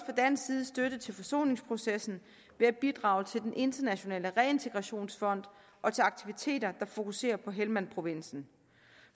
dansk side støtte til forsoningsprocessen ved at bidrage til den internationale reintegrationsfond og til aktiviteter der fokuserer på helmandprovinsen